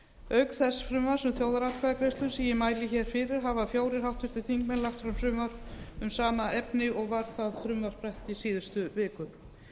auk þess frumvarps um þjóðaratkvæðagreiðslur sem ég mæli hér fyrir hafa fjórir háttvirtir þingmenn lagt fram frumvarp um sama efni og var það frumvarp rætt í síðustu viku